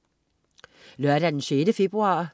Lørdag den 6. februar